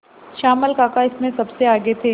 श्यामल काका इसमें सबसे आगे थे